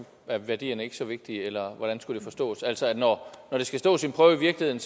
er værdierne ikke længere så vigtige eller hvordan skulle det forstås altså når når det skal stå sin prøve i virkeligheden